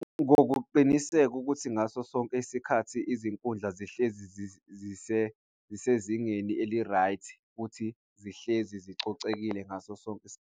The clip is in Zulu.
Ngokuqiniseka ukuthi ngaso sonke isikhathi, izinkundla zihlezi zise zingeni eli-right, futhi zihlezi zicocekile ngaso sonke .